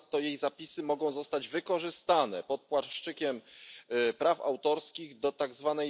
Ponadto jej zapisy mogą zostać wykorzystane pod płaszczykiem praw autorskich do tzw.